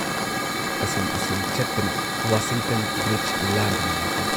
ꯑꯁꯨꯨꯝ ꯑꯁꯨꯝ ꯆꯠꯄꯅ Washington bridge ꯂꯥꯟꯗꯨꯅ ꯂꯥꯛꯂꯦ ꯫